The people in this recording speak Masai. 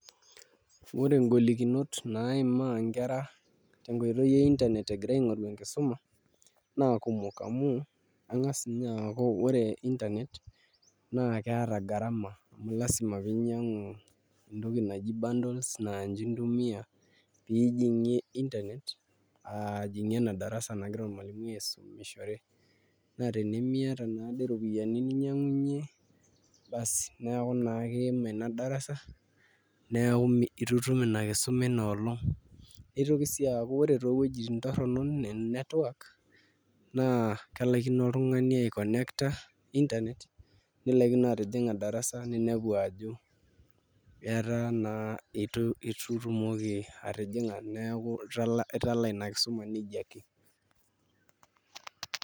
Ore ngolikinot naimaa nkera tenkoitoi eenternet egira aingoru enkisuma naa kumok amuu aingas ninye aaku ore internet naa keeta garama amu lasima pinyangu entoki naji bundles naa nche ntumia pijie internet ajingie enadarasa nagira ormwalimui aisumishore naa tenimiata naade ropiyiani basi neeku naa kimin inadarasa neeku itu itum inakisuma ina olong nitoki sii aku ore toowuejitin torono network naa kelaikino oltungani aikonekta internet nilaikino atijinga darasa ninepu ajo etaa naa itu itumoki atijing neeku italaa inakisuma nejia ake.